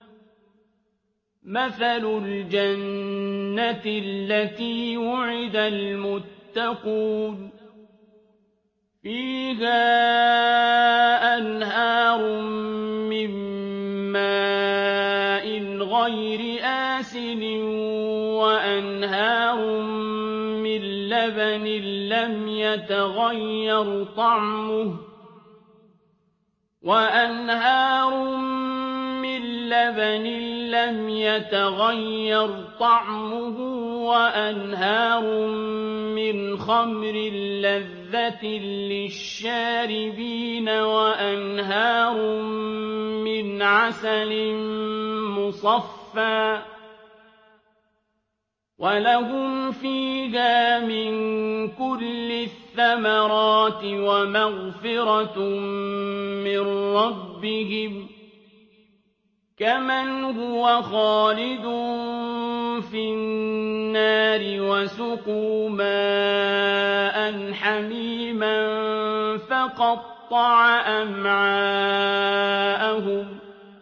مَّثَلُ الْجَنَّةِ الَّتِي وُعِدَ الْمُتَّقُونَ ۖ فِيهَا أَنْهَارٌ مِّن مَّاءٍ غَيْرِ آسِنٍ وَأَنْهَارٌ مِّن لَّبَنٍ لَّمْ يَتَغَيَّرْ طَعْمُهُ وَأَنْهَارٌ مِّنْ خَمْرٍ لَّذَّةٍ لِّلشَّارِبِينَ وَأَنْهَارٌ مِّنْ عَسَلٍ مُّصَفًّى ۖ وَلَهُمْ فِيهَا مِن كُلِّ الثَّمَرَاتِ وَمَغْفِرَةٌ مِّن رَّبِّهِمْ ۖ كَمَنْ هُوَ خَالِدٌ فِي النَّارِ وَسُقُوا مَاءً حَمِيمًا فَقَطَّعَ أَمْعَاءَهُمْ